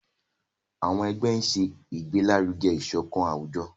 àwọn ẹgbẹ ń ṣe igbelaruge isokan awujọ.